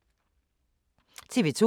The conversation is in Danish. TV 2